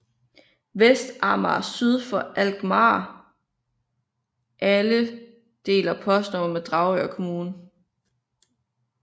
Vestamager syd for Alkmaar allé deler postnummer med Dragør Kommune